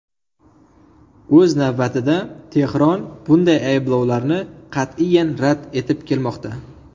O‘z navbatida, Tehron bunday ayblovlarni qat’iyan rad etib kelmoqda.